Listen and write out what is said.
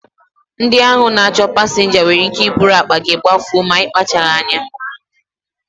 Ndị ahụ na-achụ pasinja nwere ike iburu akpa gị gbafuo ma ị kpachaghị anya